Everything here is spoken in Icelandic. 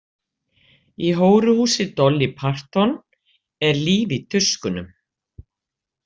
Í hóruhúsi Dolly Parton er líf í tuskunum.